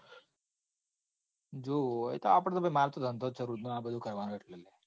જો એતો આપડે તો ભાઈ માર તો ધંધો જ છે આ બધું કરવાનું એટલે લ્યા.